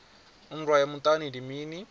nndwa ya muṱani ndi mini